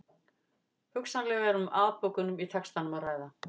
Hugsanlega er um afbökun í textanum að ræða.